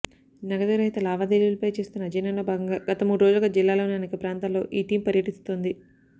నగదు రహిత లావాదేవీలపై చేస్తున్న అధ్యయనంలో భాగంగా గత మూడు రోజులుగా జిల్లాలోని అనేక ప్రాంతాల్లో ఈ టీమ్ పర్యటిస్తోంది